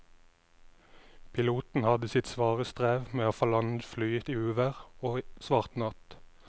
Piloten hadde sitt svare strev med å få landet flyet i uvær og svart natt.